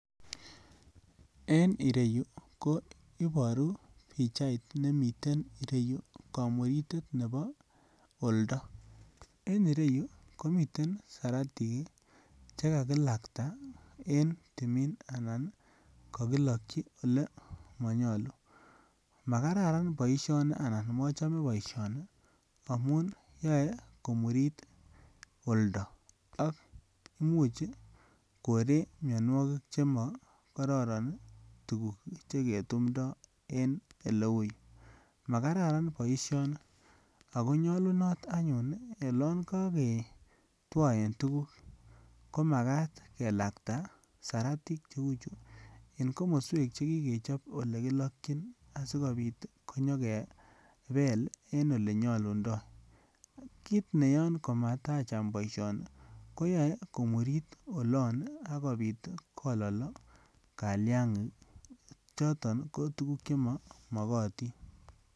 En ireyu ko iboru pichait nemii ireyu komuritet nebo oldo en ireyu komiten siratik ii che kakulakta en timin anan kogilokyi ole konyoluu. Ma kararan boishoni anan mochome boisioni amun yoe komurit oldo ak imuch koree mionwokik che mo kororon tuguk che ketumndo en ile uu yuu, ma kararan boishoni Ako nyolunot anyun olon koge twoen tuguk ko makat kelakta saratik che uu chu en komoswek che kikechob ole kilokyin asikopit konyor kepel en olenyolundo. Kit neyoon komata Cham boisioni koyoe komurit olon ii akopit kololo kalyagik ii choton ko tuguk che mo mokotin